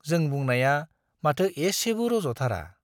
जों बुंनाया माथो एसेबो रज'थारा।